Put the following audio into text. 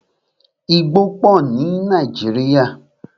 Igbó pọ ní Nàíjírìa.